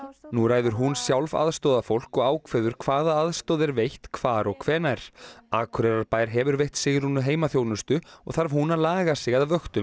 nú ræður hún sjálf aðstoðarfólk og ákveður hvaða aðstoð er veitt hvar og hvenær Akureyrarbær hefur veitt Sigrúnu heimaþjónustu og þarf hún að laga sig að vöktum